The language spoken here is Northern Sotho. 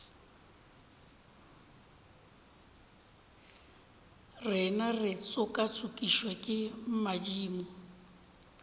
rena re tšokatšokišwa ke madimo